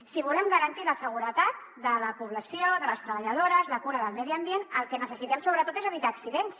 si volem garantir la seguretat de la població de les treballadores la cura del medi ambient el que necessitem sobretot és evitar accidents